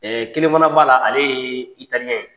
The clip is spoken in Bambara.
kelen fana b'a la ale ye italiyɛn.